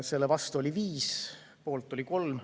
Selle vastu oli 5, poolt oli 3.